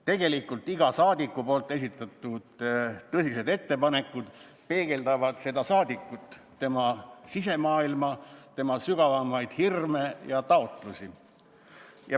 Tegelikult parlamendiliikmete esitatud tõsistest ettepanekutest iga ettepanek peegeldab saadikut, tema sisemaailma, tema sügavamaid hirme ja taotlusi.